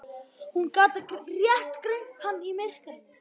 Hún gat rétt greint hann í myrkrinu.